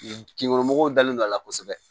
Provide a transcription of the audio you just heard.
Jinɔgɔ mɔgɔw dalen don a la kosɛbɛ